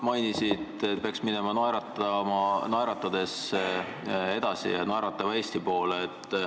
Sa ütlesid, et peaks minema naeratades edasi ja naeratava Eesti poole.